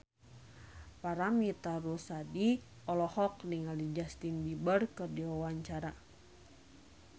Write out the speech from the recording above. Paramitha Rusady olohok ningali Justin Beiber keur diwawancara